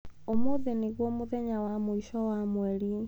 Ũmũthĩ nĩguo mũthenya wa mũico wa mweri.